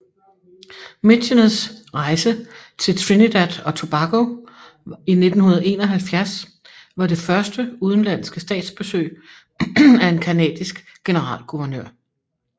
Micheners rejse til Trinidad og Tobago i 1971 var det første udenlandske statsbesøg af en canadisk generalguvernør